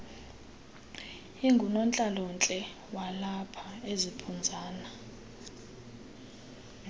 ingunontlalontle walapha eziphunzana